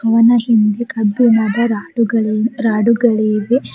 Owner ಹಿಂದೆ ಕಬ್ಬಿಣದ ರಾಡುಗಳು ರಾಡುಗಳಿವೆ.